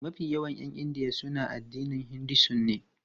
Mafi yawan 'yan India suna addinin Hinduism ne.